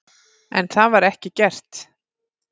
En það var ekki gert.